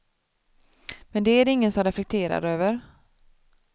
Men det är det ingen som reflekterar över.